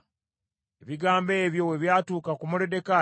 Ebigambo ebyo bwe byatuuka ku Moluddekaayi,